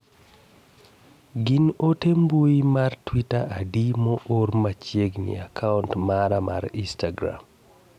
gin ote mbui mar twita adi moor machiegni e akaunt mara mar instagram